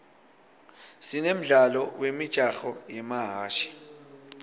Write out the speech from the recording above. sine mdlalo wemijaho yemahhashi